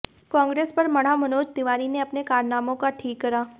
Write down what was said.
कांग्रेस पर मढा मनोज तिवारी ने अपने कारनामो का ठीकरा